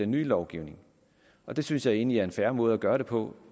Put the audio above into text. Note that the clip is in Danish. nye lovgivning det synes jeg egentlig er en fair måde at gøre det på